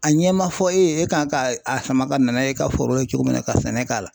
A ɲɛ ma fɔ e ye e kan ka a sama ka nan'a y'e ka foro la cogo min na ka sɛnɛ k'a la .